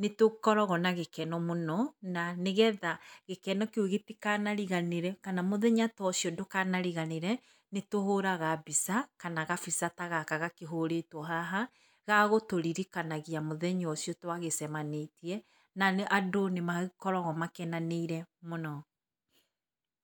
nĩ tũkoragwo na gĩkeno mũno na nĩgetha gĩkeno kĩu gĩtikanariganĩre kana mũthenya ta ũcio ndũkanariganĩre, nĩ tũhũraga mbica kana gabica ta gaka gakĩhũrĩtwo haha ga gũtũririkanagia mũthenya ũcio twagĩcemanĩtie, na andũ nĩmakoragwo makenanĩire mũno.